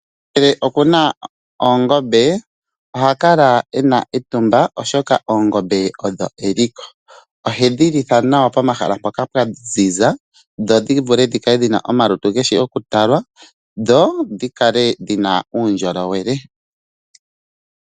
Omuntu ngele okuna oongombe ohakala u uvite etumba oshoka oongombe odho eliko . Ohedhi litha nawa pomahala mpoka pwaziza nawa dhikale dhina omalutu taga vulu oku talwa dho dhikale dhina uundjolowele.